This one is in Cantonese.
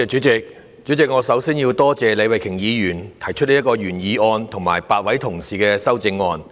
主席，我首先要多謝李慧琼議員的原議案，以及8位同事的修正案。